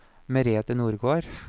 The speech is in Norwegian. Merete Nordgård